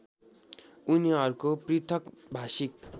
उनीहरूको पृथक भाषिक